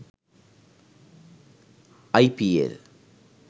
ipl